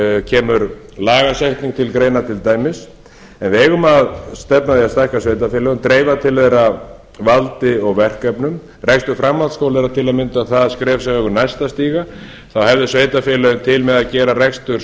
kemur lagasetning til greina til dæmis en við eigum að stefna að því að stækka sveitarfélögin dreifa til þeirra valdi og verkefnum rekstur framhaldsskóla er til að mynda það skref sem við eigum næst að stíga þá hefðu sveitarfélögin til með að gera rekstur